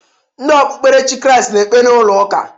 Ndị okpukperechi Kriast na-ekpe n'ụlọ ụka.